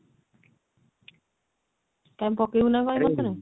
କାଇଁ ପକେଇବୁ ନା କଣ ଏଇ ମାସ ରେ?